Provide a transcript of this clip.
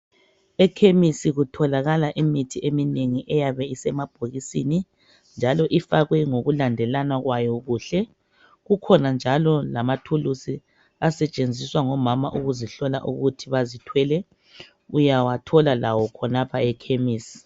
Ekhemisi kutholakala imithi eminengi eyabe isemabhokisini njalo ifakwe ngokulandelana kwayo kuhle Kukhona njalo lamathuluzi asetshenziswa ngomama ukuzihlola ukuthi bazithwele .Uyawathola lawo khonapha ekhemisi